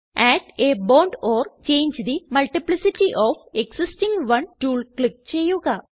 add a bond or change the multiplicity of existing one tool click ചെയ്യുക